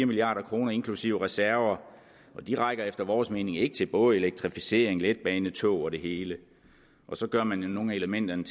milliard kroner inklusive reserver de rækker efter vores mening ikke til både elektrificering letbanetog og det hele og så gør man jo nogle af elementerne